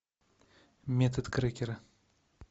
метод крекера